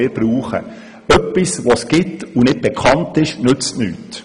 Etwas Vorhandenes, das nicht bekannt ist, nützt nichts.